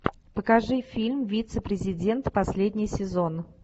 покажи фильм вице президент последний сезон